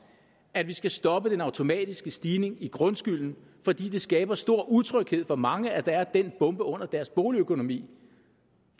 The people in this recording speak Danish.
at vi skal stoppe den automatiske stigning i grundskylden fordi det skaber stor utryghed for mange at der er den bombe under deres boligøkonomi